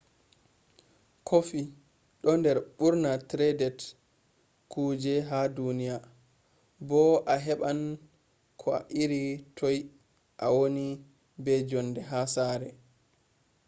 coffee ɗo der ɓurna traded kuje ha duniya bo a heɓan ko iri toi ha a woni be jonde ha sare